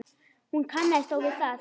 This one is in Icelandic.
Hún kannast þó við það.